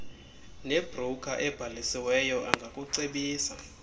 nebroker ebhalisiweyo angakucebisa